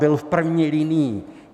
Byl v první linii.